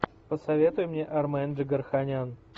посоветуй мне армен джигарханян